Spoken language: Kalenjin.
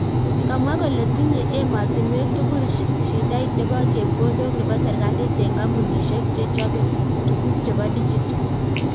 Kamwa kole tinye ematinuek tugul shidait nebo chepkondok nebo serikali eng kampunishek che chobe tuguk chebo digital